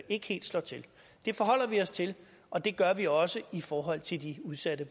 ikke helt slår til det forholder vi os til og det gør vi også i forhold til de udsatte